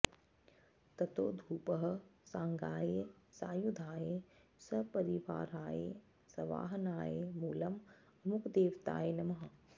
ततो धूपः साङ्गायै सायुधायै सपरिवारायै सवाहनायै मूलम् अमुकदेवतायै नमः